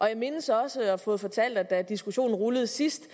jeg mindes også at have fået fortalt at da diskussionen rullede sidst